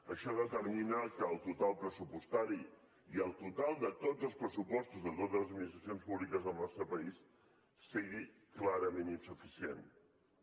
això determina que el total pressupostari i el total de tots els pressupostos de totes les administracions públiques del nostre país siguin clarament insuficients